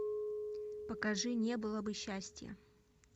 покажи не было бы счастья